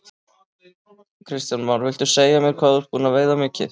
Kristján Már: Viltu segja mér hvað þú ert búinn að veiða mikið?